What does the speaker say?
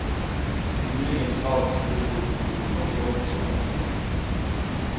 Muligens har ikke styret gjort en god nok jobb i så måte.